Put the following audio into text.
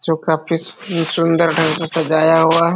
जो काफी सुन्दर ढंग से सजाया हुआ है।